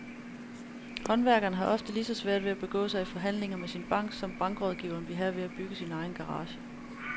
Håndværkere har ofte lige så svært ved at begå sig i forhandlinger med sin bank, som bankrådgiveren vil have ved at bygge sin egen garage.